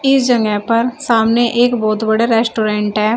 इस जगह पर सामने एक बहोत बड़े रेस्टोरेंट है।